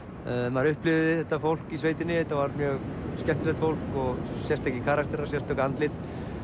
maður upplifði þetta fólk í sveitinni þetta var mjög skemmtilegt fólk og sérstakir karakterar sérstök andlit